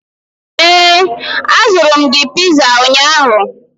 ee, azụrụ m gị piza ụnyahụ